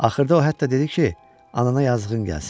Axırda o hətta dedi ki, anana yazıığın gəlsin.